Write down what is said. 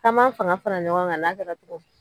K'an m'an fanga fara ɲɔgɔn kan n'a kɛra cogo min.